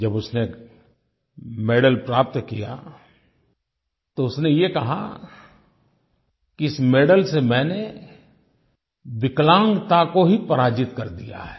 जब उसने मेडल प्राप्त किया तो उसने ये कहा इस मेडल से मैंने विकलांगता को ही पराजित कर दिया है